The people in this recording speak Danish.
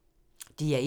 DR1